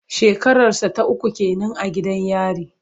Shekararsa ta uku ke nan a gidan yari.